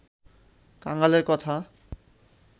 কাঙালের কথা